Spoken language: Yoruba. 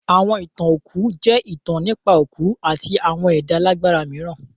Àwọn ìtàn òkú jẹ́ ìtàn nípa òkú àti àwọn ẹ̀dá alágbára mìíràn.